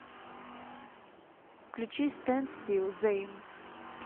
включи стэнд стилл зэйн